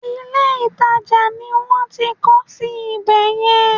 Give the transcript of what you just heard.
Ilé ìtajà ni wọ́n ń kọ́ sí ibè yẹn.